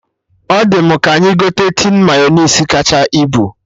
Ọ dị mụ ka anyị gote tin Mayọnais kacha ibu